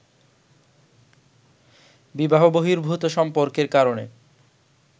বিবাহ বহির্ভূত সম্পর্কের কারণে